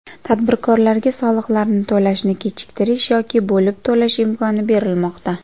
Tadbirkorlarga soliqlarni to‘lashni kechiktirish yoki bo‘lib to‘lash imkoni berilmoqda.